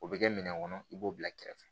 O bɛ kɛ minɛn kɔnɔ i b'o bila kɛrɛfɛ